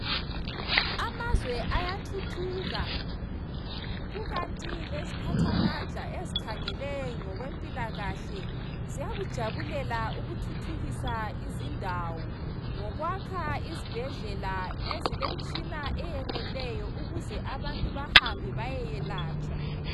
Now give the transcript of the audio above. Amazwe ayathuthuka, kukanti leziphathamandla ezikhangela ngokwempilakahle ziyakujabulela ukuthuthukisa izindawo, ngokwakha izibhedlela ezilemtshina eyeneleyo ukuze abantu bahambe bayekwelatshwa.